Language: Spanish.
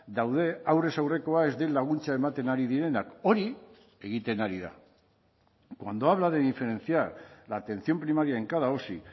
daude aurrez aurrekoa ez den laguntza ematen ari direnak hori egiten ari da cuando habla de diferenciar la atención primaria en cada osi